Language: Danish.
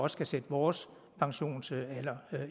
skal sætte vores pensionsalder